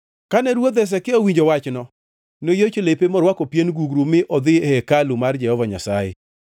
Kane Ruoth Hezekia owinjo wachno, noyiecho lepe morwako pien gugru mi odhi e hekalu mar Jehova Nyasaye.